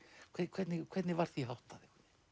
hvernig hvernig var því háttað